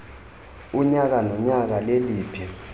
unyaka nonyaka leliphi